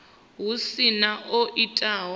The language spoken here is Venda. hu si na o itaho